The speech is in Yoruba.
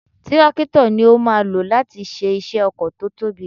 Tírákítọ̀ ni a ó máa lò láti ṣe iṣẹ́ oko tí ó tóbi